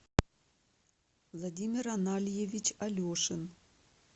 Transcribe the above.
владимир анальевич алешин